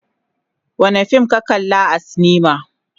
Wane fim ne ka kalli a silima.